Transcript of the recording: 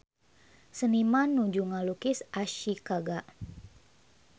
Seniman nuju ngalukis Ashikaga